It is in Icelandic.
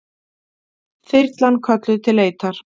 Þyrlan kölluð til leitar